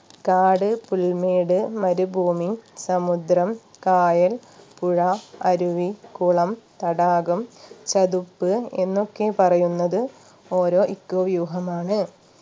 കാട് പുൽമേട് മരുഭൂമി സമുദ്രം കായൽ പുഴ അരുവി കുളം തടാകം ചതുപ്പ് എന്നൊക്കെ പറയുന്നത് ഓരോ eco വ്യൂഹമാണ്